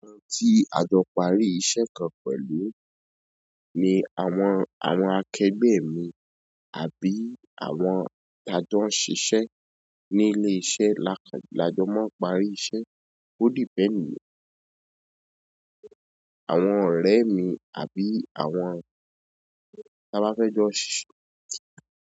Àwọn tí a jọ parí iṣẹ́ kan pẹ̀lú ni àwọn, àwọn akẹgbẹ́ mi àbí àwọn tí a jọ ń ṣiṣẹ ní ilé iṣẹ́ la, la jọ máa ń parí iṣẹ́ ó depend. Àwọn ọ̀rẹ́ mi àbí àwọn tí a bá fẹ́ jọ ṣiṣẹ.